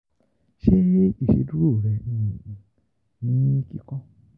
Ṣe iṣeduro um rẹ ni kikọ?